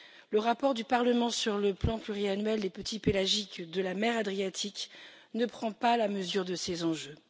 Le rapport du Parlement sur le plan pluriannuel des petits pélagiques de la mer Adriatique ne prend pas la mesure de ces enjeux.